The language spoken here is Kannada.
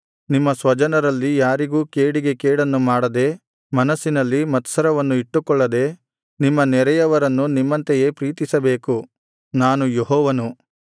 ನಿಮ್ಮ ಸ್ವಜನರಲ್ಲಿ ಯಾರಿಗೂ ಕೇಡಿಗೆ ಕೇಡನ್ನು ಮಾಡದೆ ಮನಸ್ಸಿನಲ್ಲಿ ಮತ್ಸರವನ್ನು ಇಟ್ಟುಕೊಳ್ಳದೆ ನಿಮ್ಮ ನೆರೆಯವರನ್ನು ನಿಮ್ಮಂತೆಯೇ ಪ್ರೀತಿಸಬೇಕು ನಾನು ಯೆಹೋವನು